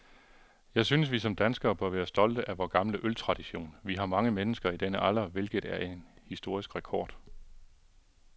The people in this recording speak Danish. Jeg synes, vi som danskere bør være stolte af vor gamle øltradition. Vi har mange mennesker i denne alder, hvilket er en historisk rekord.